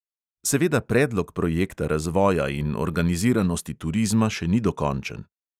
Seveda predlog projekta razvoja in organiziranosti turizma še ni dokončen.